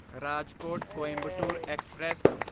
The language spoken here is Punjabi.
ਰਾਜਕੋਟ ਕੋਇੰਬਟੋਰ ਐਕਸਪ੍ਰੈਸ